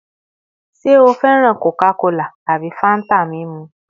Ṣe o fẹran Coca-Cola tabi Fanta mimu?